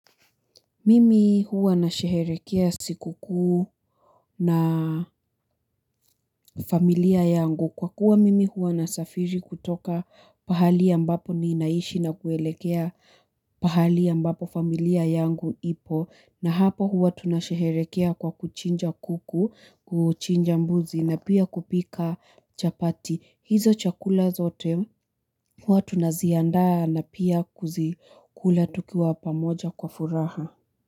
Mimi huwa nasheherekea siku kuu na familia yangu kwa kuwa mimi huwa nasafiri kutoka pahali ambapo ninaishi na kuelekea pahali ambapo familia yangu ipo na hapo huwa tunashereherekea kwa kuchinja kuku kuchinja mbuzi na pia kupika chapati hizo chakula zote huwa tunaziandaa na pia kuzikula tukiwa pamoja kwa furaha.